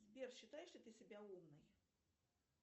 сбер считаешь ли ты себя умной